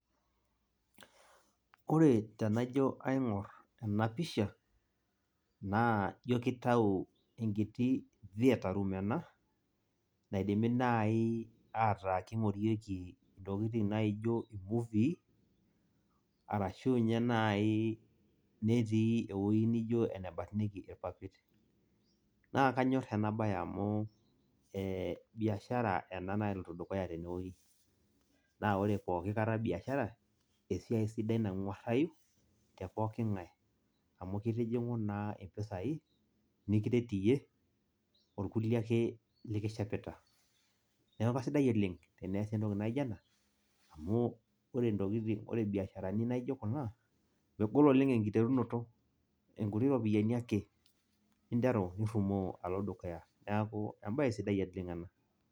Ore tenajo aing'or ena pisha, naa ijo kitau enkiti theatre room ena, naidimi nai ataa king'orieki intokiting' naijo nai imuvii, arashu nye nai netii ewoi nijo enebarnieki irpapit. Naa kanyor enabae amu, biashara ena naloito dukuya tenewueji. Na ore pooki kata biashara, esiai sidai nang'uarrayu, te pooking'ae amu kitijing'u naa impisai, nikiret iyie, orkulie ake likishepita. Neeku kasidai oleng', teneesi entoki naijo ena, amu ore intokiting' ore ibiasharani naijo ku a,megol oleng' enkiterunoto. Inkuti ropiyaiani ake, ninteru, nirrumoo alo dukuya. Neeku ebae sidai oleng' ena.